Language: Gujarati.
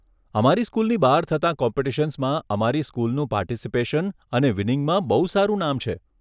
અમારી સ્કૂલની બહાર થતાં કોમ્પિટિશન્સમાં અમારી સ્કૂલ નું પાર્ટિસિપેશન અને વિનિંગમાં બહુ સારું નામ છે.